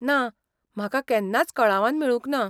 ना, म्हाका केन्नाच कळावान मेळूंक ना.